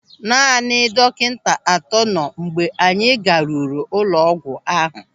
Naanị dọkịta atọ nọ mgbe anyị ga-ruru ụlọ ọgwụ ahụ.